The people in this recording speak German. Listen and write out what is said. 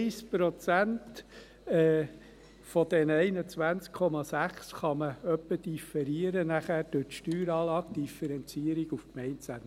1 Prozent von diesen 21,6 kann man nachher durch die Steueranlagedifferenzierung auf Gemeindeebene etwa differieren.